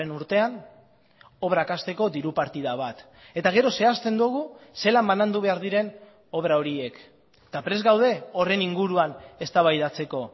urtean obrak hasteko diru partida bat eta gero zehazten dugu zelan banandu behar diren obra horiek eta prest gaude horren inguruan eztabaidatzeko